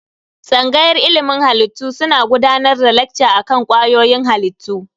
Tsangayar ilimin halittu suna gudanar da lekca akan kwayoyin halittu.